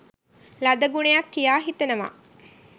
ලද ගුණයක් කියා හිතනවා.